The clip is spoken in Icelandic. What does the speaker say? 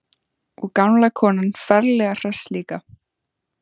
Og gamla konan ferlega hress líka.